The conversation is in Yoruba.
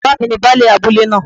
Bàbá mi ni Baálẹ̀ abúlé náà